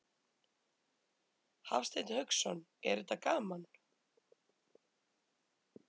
Hafsteinn Hauksson: Er þetta gaman?